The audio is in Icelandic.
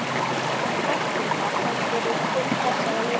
Hvaða væntingar hefurðu til þessara leikja?